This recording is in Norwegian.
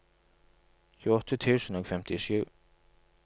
tjueåtte tusen og femtisju